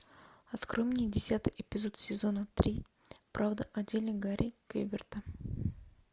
открой мне десятый эпизод сезона три правда о деле гарри квеберта